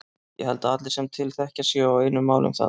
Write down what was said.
Ég held að allir sem til þekkja séu á einu máli um það.